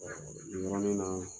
nin yɔrɔnin na